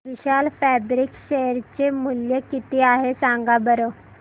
विशाल fabrics share चे मूल्य किती आहे सांगा बरं